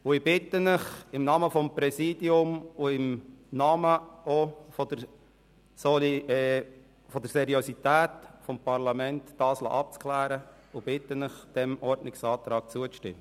Ich bitte Sie im Namen des Präsidiums und im Namen der Seriosität des Parlaments, dies abklären zu lassen, und bitte Sie, dem Ordnungsantrag zuzustimmen.